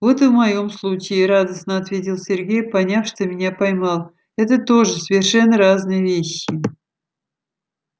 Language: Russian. вот и в моем случае радостно ответил сергей поняв что меня поймал это тоже совершенно разные вещи